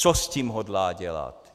Co s tím hodlá dělat.